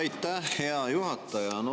Aitäh, hea juhataja!